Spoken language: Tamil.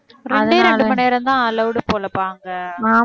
அதே ரெண்டு மணி நேரம்தான் allowed போலப்பா அங்க